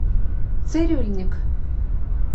цирюльникъ